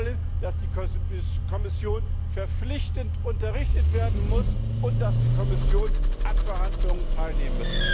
Wir wollen, dass die Kommission verpflichtend unterrichtet werden muss und dass die Kommission an den Verhandlungen teilnimmt.